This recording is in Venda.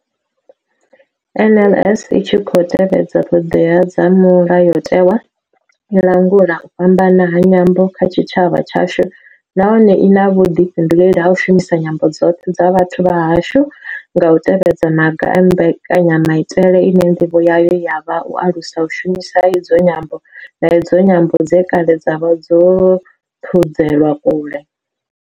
NLS I tshi khou tevhedza ṱhodea dza Mulayotewa, i langula u fhambana ha nyambo kha tshitshavha tshashu nahone I na vhuḓifhinduleli ha u shumisa nyambo dzoṱhe dza vhathu vha hashu nga u tevhedza maga a mbekanya maitele ine nḓivho yayo ya vha u alusa u shumiswa ha idzi nyambo, na idzo nyambo dze kale dza vha dzo thudzelwa kule.